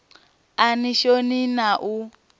a ni shoni na u